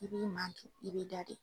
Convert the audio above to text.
I b'i makun i b'i dade.